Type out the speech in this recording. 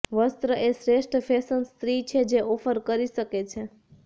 વસ્ત્ર એ શ્રેષ્ઠ ફેશન સ્ત્રી છે જે ઑફર કરી શકે છે